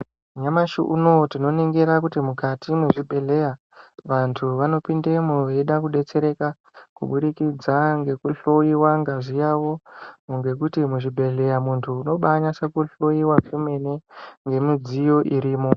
Nyamashi unowu tinoningira kuti mukati mwezvibhedhleya vantu vanopindemwo veyida kudetsereka kubudikidza ngekuhloyiwa ngazi yavo . Ngokuti muzvibhedhleya muntu unobaanatse kuhloyiwa kwemene ngemidziyo irimo.